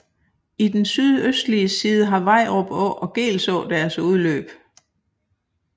I den sydøstlige side har Vejrup Å og Geelså deres udløb